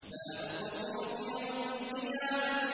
لَا أُقْسِمُ بِيَوْمِ الْقِيَامَةِ